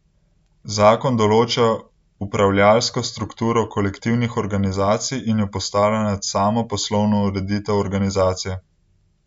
Zakon določa upravljavsko strukturo kolektivnih organizacij in jo postavlja nad samo poslovno ureditev organizacije.